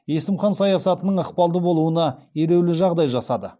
есім хан саясатының ықпалды болуына елеулі жағдай жасады